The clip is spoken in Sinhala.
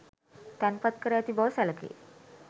තැන්පත් කර ඇති බව සැළකේ.